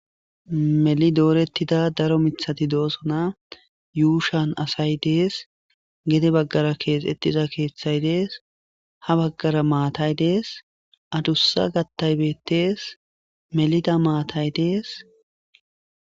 Meli doorettida daro mithati doosona yuushan asay dees gede baggara keex exiza keeththay dees ha baggara maatay dees adussa gattaybettees melida maatay dees.